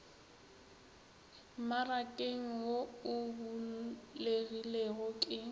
mmarakeng wo o bulegilego ke